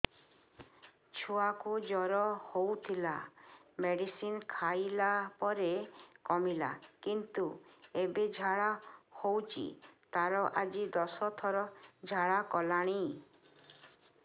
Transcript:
ଛୁଆ କୁ ଜର ହଉଥିଲା ମେଡିସିନ ଖାଇଲା ପରେ କମିଲା କିନ୍ତୁ ଏବେ ଝାଡା ହଉଚି ତାର ଆଜି ଦଶ ଥର ଝାଡା କଲାଣି